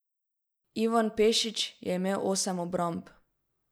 Ivan Pešić je imel osem obramb.